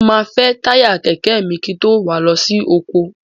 Mo máa fẹ́ táyà kẹ̀kẹ́ mi kí n tó wà á lọ sí oko.